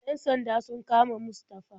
Yan sanda sun kama Mustafa.